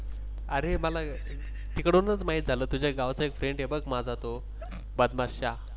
अरे मला तिकडूनच माहीत झाल. तूझ्या गावचा एक Friend आहे बघ माझा तो .